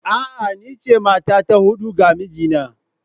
A'a, ni ce mata ta hudu ga mijina